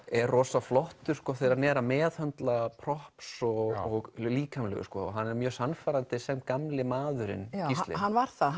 er rosaflottur þegar hann er að meðhöndla props og líkamlegu hann er mjög sannfærandi sem gamli maðurinn Gísli hann var það